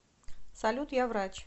салют я врач